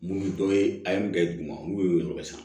Mun dɔ ye a ye mun kɛ duguma n'u ye o yɔrɔ san